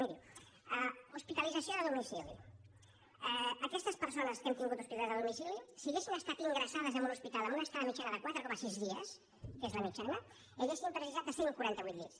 miri hospitalització de domicili aquestes persones que hem tingut hospitalitzades a domicili si haguessin estat ingressades en un hospital amb una estada mitjana de quatre coma sis dies que és la mitjana haurien necessitat cent i quaranta vuit llits